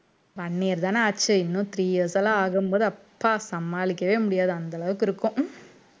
one year தான ஆச்சு இன்னும் three years லாம் ஆகும்போது அப்பா சமாளிக்கவே முடியாது அந்த அளவுக்கு இருக்கும்